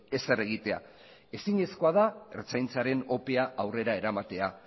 ezer egitea ezinezkoa da ertzaintzaren opea aurrera eramatea